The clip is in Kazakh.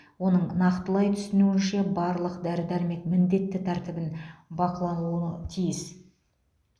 оның нақтылай түсуінше барлық дәрі дәрмек міндетті тәртібін бақылануы тиіс